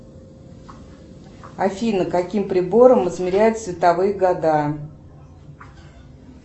афина каким прибором измеряют световые года